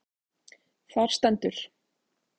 Þar stendur: